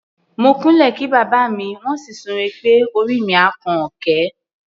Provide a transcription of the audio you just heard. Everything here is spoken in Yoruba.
Mo kúnlẹ̀ kí bàbá mi, wọ́n sì súre pé "orí mi á kan òkè".